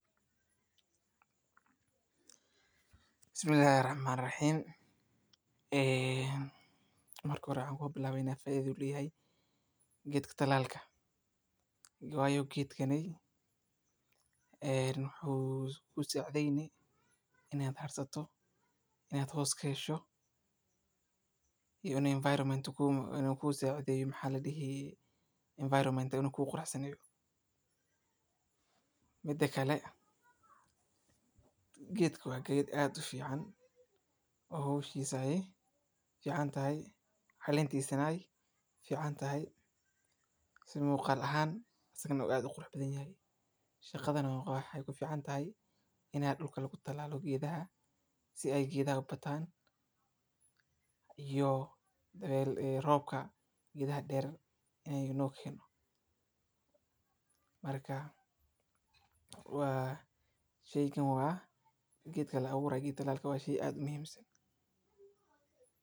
Markaad bilaabayso beerida geedka adas-ka, waa inaad doorataa meel aad u qorraxda leh oo ay dhulku yeesho mid fudud oo aan ku dhegganayn, waana muhiim inaad hore u sameyso dhulka si uu u noqdo mid nadiif ah oo aan ka buuxin xidhmooyinka weedha, kadibna waa inaad sameysaa qodobo gaagaaban oo dhuubleyda ah oo u dhexeeya inji oo qoto dheer, ka dibna ku shub fidmada adas-ka si siman oo aanad ku dhufanayn mid ka badan, markaas ku dabo dhig dhoobo yar oo aad ku daboolayso fidmaha si aad uga hortagto in ay qoyaan, kadibna waa inaad si joogto ah u waraabiyaa beerida laakiin iska ilaali inaad ku badiso biyaha maxaa yeelay.